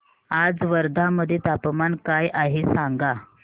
आज वर्धा मध्ये तापमान काय आहे सांगा